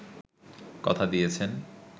কথা দিয়েছেন